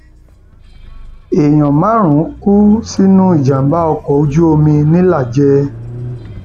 èèyàn márùnún kú sínú ìjàmbá ọkọ ojú omi ńìlàjẹ